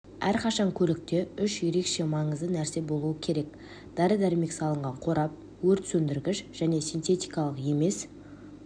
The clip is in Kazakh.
әрқашан көлікте үш ерекше маңызды нәрсе болу керек дәрі дәрмек салынған қорап өрт сөндіргіш және синтетикалық емес